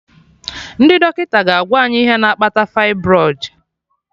Ndị dọkịta ga/agwa any ihe na-akpata fibroid